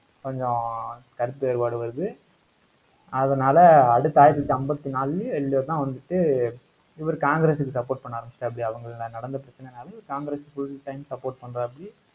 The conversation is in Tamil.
கொஞ்சம் கருத்து வேறுபாடு வருது. அதனால அடுத்த ஆயிரத்தி தொள்ளாயிரத்தி ஐம்பத்தி நாலுலயோ, ஏழுலோயோதான் வந்துட்டு, இவரு காங்கிரசுக்கு support பண்ண ஆரம்பிச்சிட்டாப்படி, நடந்த பிரச்சனையினால, காங்கிரஸ் full time support பண்றாப்படி